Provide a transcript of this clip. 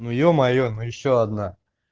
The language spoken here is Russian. ну ё-моё ну ещё одна